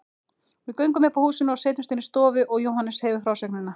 Við göngum upp að húsinu og setjumst inn í stofu og Jóhannes hefur frásögnina.